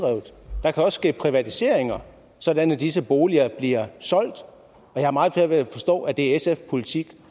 der kan også ske privatiseringer sådan at disse boliger bliver solgt og jeg har meget svært ved at forstå at det er sfs politik